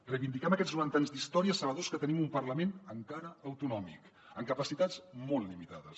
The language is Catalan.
reivindiquem aquests noranta anys d’història sabedors que tenim un parlament encara autonòmic amb capacitats molt limitades